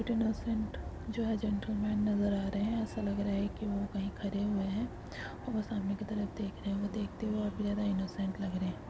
Innocent जो है gentleman नजर आ रहे है ऐसा लग रहा है की वो कही खड़े हुए है और सामने की तरफ देख रहे हैं देखते हुए काफी ज़्यदा इनोसेंट लग रहे है।